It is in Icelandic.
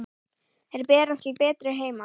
Þeir berast til betri heima.